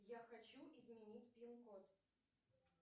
я хочу изменить пин код